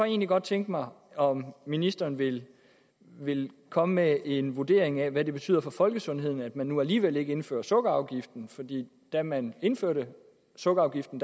egentlig godt tænke mig om ministeren ville ville komme med en vurdering af hvad det betyder for folkesundheden at man nu alligevel ikke indfører sukkerafgiften da man indførte sukkerafgiften